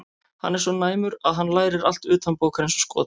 Hann er svo næmur að hann lærir allt utanbókar eins og skot.